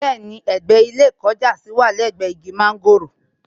Bẹ́ẹ̀ni, ẹ̀gbẹ́ ilé ìkọjásí wà lẹ́gbẹ̀ẹ́ igi mọ́ńgòrò